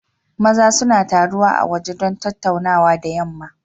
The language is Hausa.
Maza suna taruwa a waje don tattaunawa da yamma.